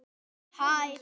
Hún gæti dugað.